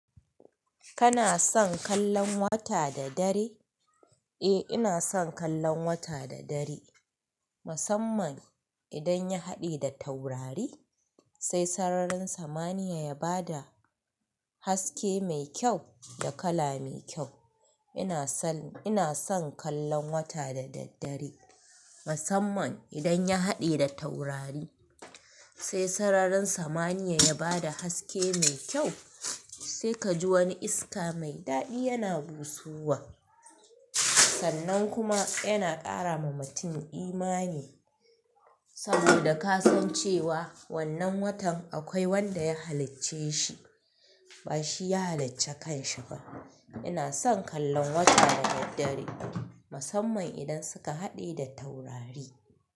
Kana son kallon wata da dare? Eh, ina son kallon wata da dare, musamman idan ya haɗe da taurari, sai sararin samaniya ya ba da haske mai kyau da kala mai kyau. Ina son, ina son kallon wata da daddare, musamman idan ya haɗe da taurari, sai sararin samaniya ya ba da haske mai kyau. Sai ka ji wani iska mai daɗi yana busowa, sannan kuma yana ƙara ma mutum imani, saboda ka san cewa wannan watan akwai wanda ya halicce shi, ba shi ya halicce kan shi ba. Ina son kallon wata da daddare, musamman idan suka haɗe da taurari.